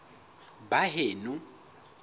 baheno